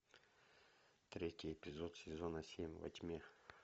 третий эпизод сезона семь во тьме